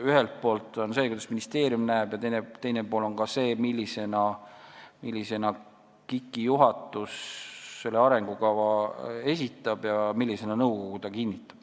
Üks pool on see, kuidas ministeerium asja näeb, ja teine pool on see, millisena KIK-i juhatus selle arengukava esitab ja millisena nõukogu selle kinnitab.